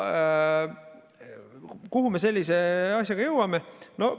Kuhu me sellise asjaga jõuame?